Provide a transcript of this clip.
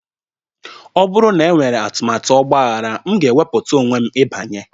ọ bụrụ na enwere atụmatụ ọgbaghara, m ga-ewepụta onwe m ịbanye